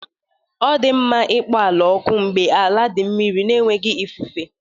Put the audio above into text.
Ọ dị mma ịkpọ ala oku mgbe ala dị mmiri na enweghị ifufe.